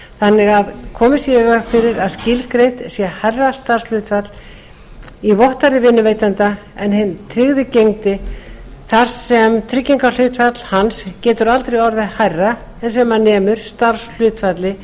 þannig að komið sé í veg fyrir að tilgreint sé hærra starfshlutfall í vottorði vinnuveitanda en hinn tryggði gegndi þar sem tryggingahlutfall hans getur aldrei orðið hærra en sem nemur starfshlutfalli